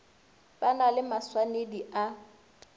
ba na le maswanedi a